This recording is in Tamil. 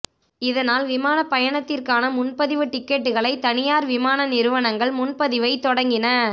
இதனால் விமான பயணத்திற்கான முன்பதிவு டிக்கெட்டுகளை தனியார் விமான நிறுவனங்கள் முன்பதிவை தொடங்கின